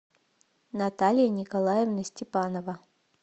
наталья николаевна степанова